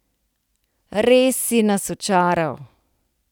Res si nas očaral.